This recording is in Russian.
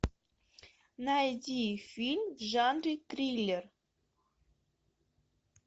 найди фильм в жанре триллер